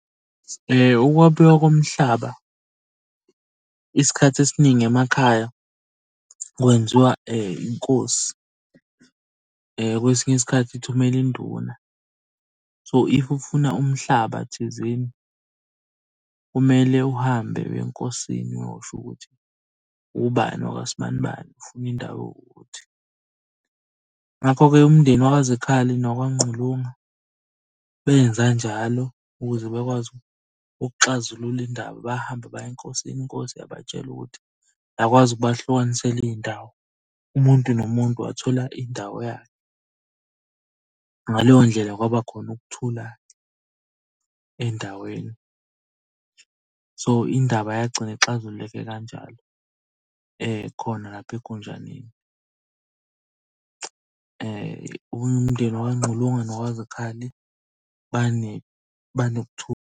Ukwabiwa komhlaba isikhathi esiningi emakhaya kwenziwa inkosi. Kwesinye isikhathi ithumela induna. So, if ufuna umhlaba thizeni, kumele uhambe uye enkosini uyosho ukuthi ubani wakwa sibanibani ufuna indawo ewukuthi. Ngakho-ke umndeni wakaZikhali nowakaNgqulunga, benza njalo ukuze bakwazi ukuxazulula indaba. Bahambe baye enkosini, inkosi yabatshela ukuthi, yakwazi ukubahlukanisela iy'ndawo. Umuntu nomuntu wathola indawo yakhe. Ngaleyo ndlela kwaba khona ukuthula endaweni. So indaba yagcina ixazululeke kanjalo, khona lapha . Umndeni wakaNgqulunga nowakwaZikhali banokuthula.